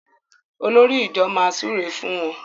Olórí ìjọ má súré fún wón.